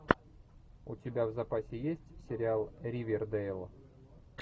у тебя в запасе есть сериал ривердэйл